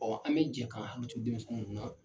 an bɛ jɛ ka hakili to denmisɛnnin ninnu na.